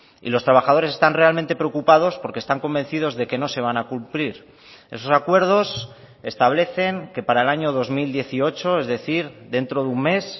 y los trabajadores están realmente preocupados porque están convencidos de que no se van a cumplir esos acuerdos establecen que para el año dos mil dieciocho es decir dentro de un mes